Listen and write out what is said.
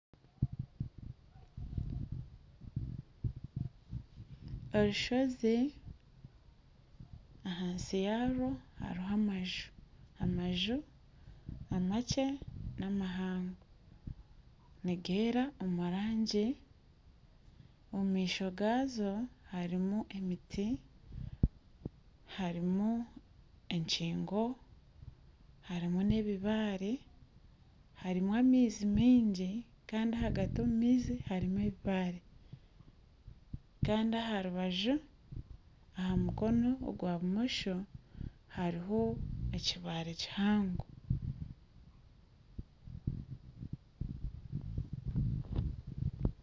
Orushozi ahansi yarwo hariho amanju, amanju amakye n'amahango nigeera omu rangi omu maisho gaazo harimu emiti, harimu egingo harimu n'ebibaare harimu amaizi mingi kandi ahagati omu maizi harimu ebibaare kandi aharubaju aha mukono ogwa bumosho hariho ekibare kihango.